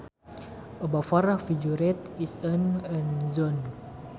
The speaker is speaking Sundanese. A buffer figurative is an end zone